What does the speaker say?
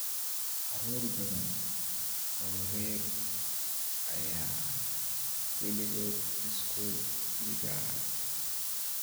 Carruur badan oo rer ayaan weligood iskuul dhigan.